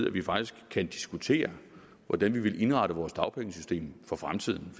at vi faktisk kan diskutere hvordan vi vil indrette vores dagpengesystem for fremtiden